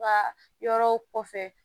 Ka yɔrɔ kɔfɛ